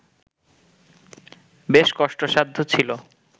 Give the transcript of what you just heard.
বেশ কষ্টসাধ্য ছিল